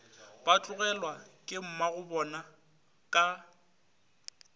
ba tlogelwa ke mmagobona ka